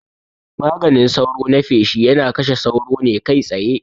Maganin sauro na feshi yana kashe sauro ne kai tsaye